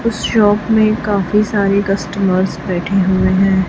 उस शॉप में काफी सारे कस्टमर्स बैठे हुए हैं।